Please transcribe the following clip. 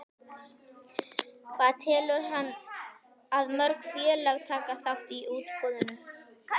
Hvað telur hann að mörg félög taki þátt í útboðinu?